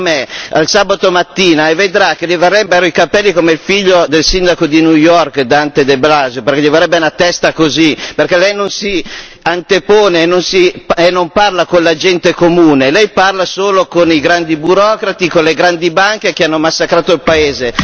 Venga da me il sabato mattina e vedrà che le verrebbero i capelli come il figlio del sindaco di New York, Dante De Blasio, perché le verrebbe una testa così, perché Lei non si antepone e non parla con la gente comune, Lei parla solo con i grandi burocrati, con le grandi banche che hanno massacrato il paese.